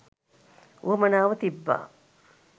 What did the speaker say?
උවමනාව තිබ්බා..